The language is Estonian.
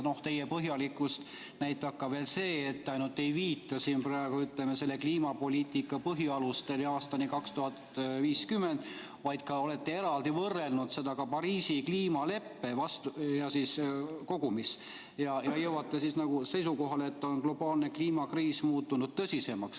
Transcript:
Teie põhjalikkust näitab veel ka see, et te ainult ei viita siin praegu "Kliimapoliitika põhialustele aastani 2050", vaid olete ka eraldi võrrelnud seda Pariisi kliimaleppega kogumis ja jõuate seisukohale, et globaalne kliimakriis on muutunud tõsisemaks.